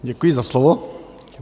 Děkuji za slovo.